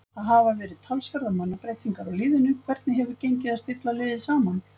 Það hafa verið talsverðar mannabreytingar á liðinu, hvernig hefur gengið að stilla liðið saman?